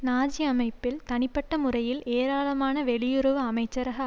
Nazi அமைப்பில் தனிப்பட்ட முறையில் ஏராளமான வெளியுறவு அமைச்சரக